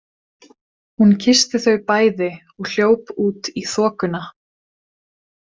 Hún kyssti þau bæði og hljóp út í þokuna.